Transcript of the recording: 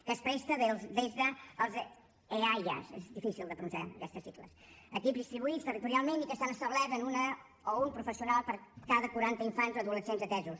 que es presta des dels eaia són difícils de pronunciar aquesta sigla equips distribuïts territorialment i que estan establerts en una o un professional per cada quaranta infants o adolescents atesos